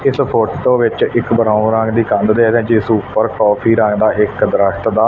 ਇੱਸ ਫ਼ੋਟੋ ਵਿੱਚ ਇੱਕ ਬਰਾਊਨ ਰੰਗ ਦੀ ਕੰਧ ਦੇ ਵਿੱਚ ਜਿੱਸ ਊਪਰ ਕੌਫੀ ਰੰਗ ਦਾ ਇਕ ਦਰੱਖਤ ਦਾ--